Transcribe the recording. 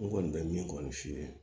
N kɔni bɛ min kɔni f'i ye